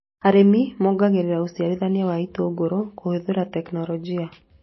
Arĩmi mongagĩrĩra ũciarithania wa itũngũrũ kũhũthĩra tekinorojĩ